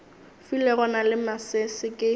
filego na le masese ke